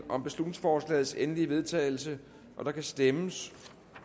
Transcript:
om beslutningsforslagets endelige vedtagelse og der kan stemmes